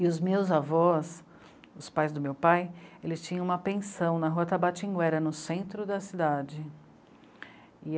E os meus avós, os pais do meu pai, eles tinham uma pensão na rua Tabatinguera, no centro da cidade.